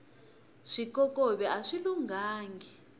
swikokovi aswi lunghangi